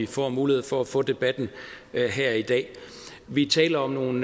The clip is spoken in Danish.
får mulighed for at få debatten her i dag vi taler om nogle